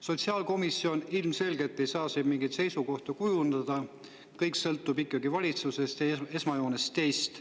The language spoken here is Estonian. Sotsiaalkomisjon ilmselgelt ei saa siin mingit seisukohta kujundada, kõik sõltub ikkagi valitsusest ja esmajoones teist.